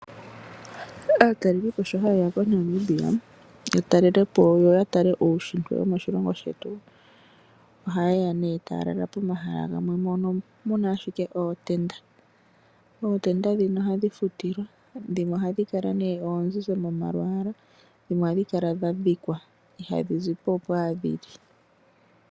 Aatalelipo sho hayeya koNamibia ya talelepo yo ya tale uushitwe womoshilongo shetu ohaye ya tala lala pomahala gamwe mono muna ashike ootenda. Ootenda ndhino ohadhi futilwa dhimwe ohadhi kala oondjendje molwaala dhimwe ohadhi kala dha dhikwa ihadhi zipo opo owala dhili.